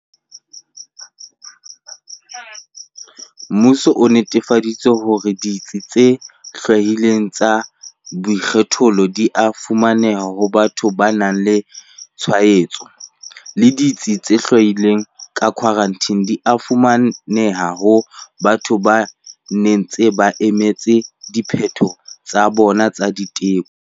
Mmuso o netefaditse hore ditsi tse hlwailweng tsa boikgethollo di a fumaneha ho batho ba nang le tshwaetso, le ditsi tse hlwailweng tsa khwarantine di a fumaneha ho batho ba ntseng ba emetse diphetho tsa bona tsa diteko.